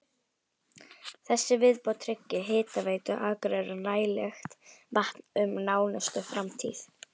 Þessi viðbót tryggir Hitaveitu Akureyrar nægilegt vatn um nánustu framtíð.